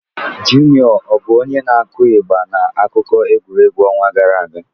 Juniọ bụ onye na-akụ ịgba n'akụkọ egwuregwu ọnwa gara aga?